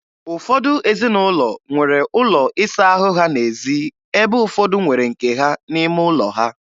Ụfọdụ ezinụlọ nwere ụlọ ịsa ahụ ha n'ezi ebe ụfọdụ nwere nke ha n'ime ụlọ ha.